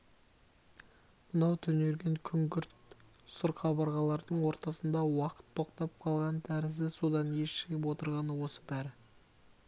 мынау түнерген күңгірт сұр қабырғалардың ортасында уақыт тоқтап қалған тәрізді содан ес жиып отырғаны осы бәрі